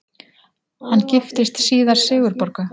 Hann giftist síðar Sigurborgu